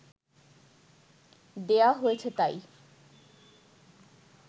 দেওয়া হয়েছে তাই